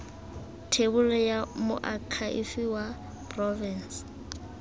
thebolo ya moakhaefe wa porofense